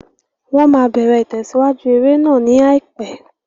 Wọ́n máa bẹ̀rẹ̀ ìtẹ̀síwájú eré náà ní àìpẹ́.